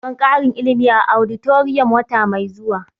Za a yi taron ƙarin ilimi a auditorium wata mai zuwa